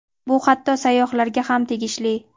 Bu hatto sayyohlarga ham tegishli.